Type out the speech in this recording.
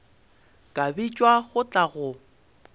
ka bitšwa go tla go